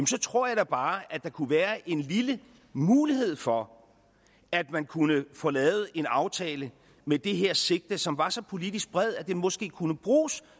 så tror jeg da bare at der kunne være en lille mulighed for at man kunne få lavet en aftale med det her sigte som var så politisk bred at den måske også kunne bruges